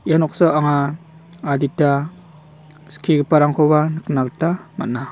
ia noksao anga adita skigiparangkoba nikna gita man·a.